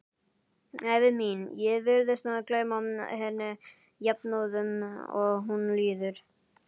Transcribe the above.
Ævi mín, ég virðist gleyma henni jafnóðum og hún líður.